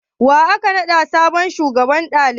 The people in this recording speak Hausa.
Wa aka naɗa sabon shugaban daliban?